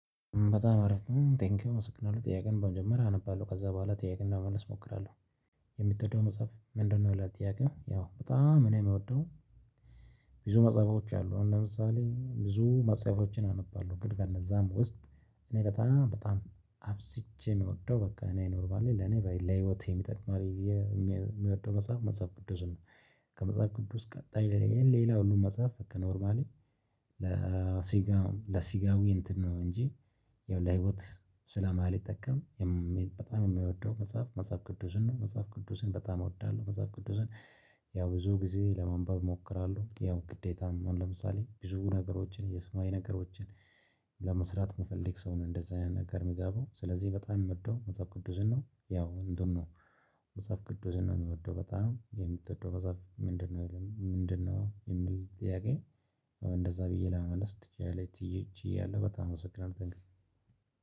በጣም አሪፍ ነው ቴንኪው አመሰግናለው ጥያቄን በመጀመሪያ አነባለሁ ከዛ ቦኋላ ጥያቄን ለመመለስ እሞክራለው የሚተወደው መጽሐፍ ምንድነው ይላል ጥያቄው በጣም እኔ የምወደው ብዙ መጽሐፎች አሉ ለምሳሌ ብዙ መጽሐፎችን አነባለሁ ግን ከነዛም ውስጥ እኔ በጣም በጣም አብዝቼ የምወደው በቃ እኔ ኖርባል ለኔ ለህይወቴ የሚጠቅም አለ የሚወደው መጽሐፍ መጽሐፍ ቅዱስ ነው ከመጽሐፍ ቅዱስ ቀጣይ ሌላ ሁሉ መጽሐፍ ከኖርማሌ ለሲጋም ለሲጋዊ እንትን ነው እንጂ ይኸው ላህወት ስለማልጠቀም በጣም የሚወደው መጽሐፍ መጽሐፍ ቅዱስን ነው። መጽሐፍ ቅዱስን በጣም እወዳለሁ መጽሐፍ ቅዱስን ያው ብዙ ጊዜ ለመንበብ እሞክራለሁ ያው ግዴታም ለምሳሌ ብዙ ነገሮችን የስማዊ ነገሮችን ለመስራት መፈለግ ሰውን እንደዚህ አይነት ነገር የሚገባው ስለዚህ በጣም የመደው መጽሐፍ ቅዱስን ነው። ያው እንደውም ነው መጽሐፍ ቅዱስን ነው የምወደው በጣም የምትወደው መጽሐፍ ምንድነው ይልም ምንድነው የሚል ጥያቄ እንደዛ ብዬ ለመመለስ ትችያለሽ ቺዬያለው በጣም አመሰግናለው ቴን ኪው።